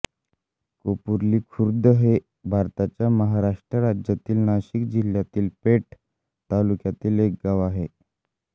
कोपुर्ली खुर्द हे भारताच्या महाराष्ट्र राज्यातील नाशिक जिल्ह्यातील पेठ तालुक्यातील एक गाव आहे